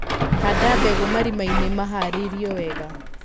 Handa mbegũ marimainĩ maharĩirio wega.